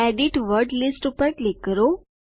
edit word lists પર click કરો